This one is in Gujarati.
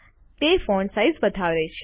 તે ફોન્ટ સાઈઝ વધારે છે